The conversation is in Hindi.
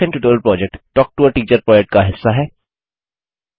spoken tutorial project talk to a teacher project का हिस्सा है